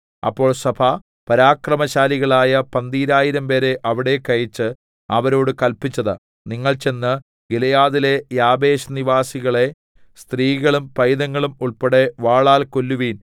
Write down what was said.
അപ്പോൾ സഭ പരാക്രമശാലികളായ പന്തീരായിരംപേരെ അവിടേക്ക് അയച്ച് അവരോട് കല്പിച്ചത് നിങ്ങൾ ചെന്ന് ഗിലെയാദിലെ യാബേശ് നിവാസികളെ സ്ത്രീകളും പൈതങ്ങളും ഉൾപ്പെടെ വാളാൽ കൊല്ലുവിൻ